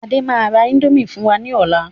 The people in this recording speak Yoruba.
Adé máa ra índòmí fún wa ní ọ̀la